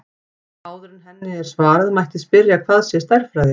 Áður en henni er svarað mætti spyrja hvað sé stærðfræði.